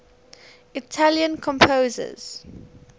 italian composers